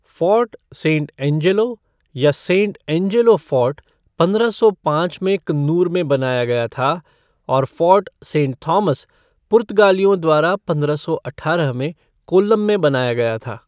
Fort saint Angelo या saint Angelo fort पंद्रह सौ पाँच में कन्नूर में बनाया गया था और फ़ोर्ट सेंट थॉमस पुर्तगालियों द्वारा पंद्रह सौ अठारह में कोल्लम में बनाया गया था।